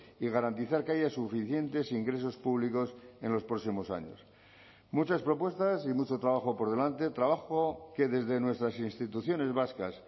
y garantizar que haya suficientes ingresos públicos en los próximos años muchas propuestas y mucho trabajo por delante trabajo que desde nuestras instituciones vascas